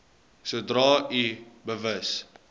sodra u bewus